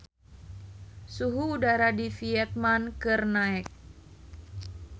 Suhu udara di Vietman keur naek